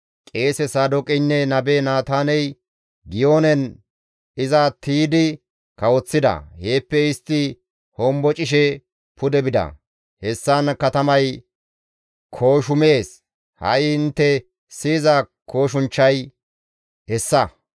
Qeese Saadooqeynne nabe Naataaney, Giyoonen iza tiydi kawoththida; heeppe istti hombocishe pude bida; hessan katamay kooshumees; ha7i intte siyiza kooshunchchay hessa.